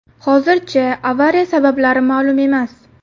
Hozircha avariya sabablari ma’lum emas.